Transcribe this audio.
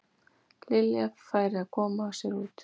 Lilja færi að koma sér út.